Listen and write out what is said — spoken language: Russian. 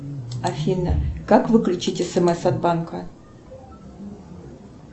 афина как выключить смс от банка